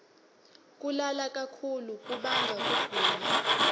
kulala kakhulu kubanga kugula